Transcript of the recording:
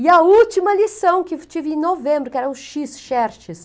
E a última lição que tive em novembro, que era o X, Xerxes.